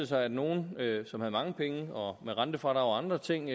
sig at nogle som havde mange penge og med rentefradrag og andre ting